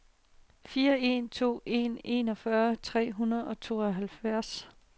fire en to en enogfyrre tre hundrede og tooghalvfjerds